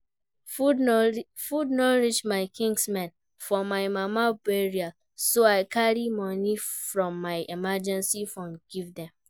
Food no reach my kinsmen for my mama burial so I carry money from my emergency fund give dem